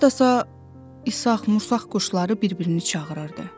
Hardasa İsaq-Mursaq quşları bir-birini çağırırdı.